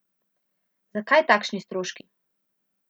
Zakaj takšni stroški?